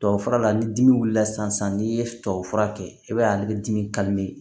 Tubabufura la ni dimi wulila sisan n'i ye tubabufura kɛ i b'a ye ale bɛ dimi